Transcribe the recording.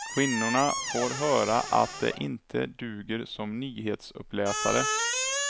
Kvinnorna får höra att de inte duger som nyhetsuppläsare.